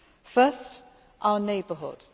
First, our neighbourhood.